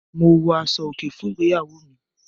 Mo wọ aṣọ-òkè fún ìgbéyàwó mi.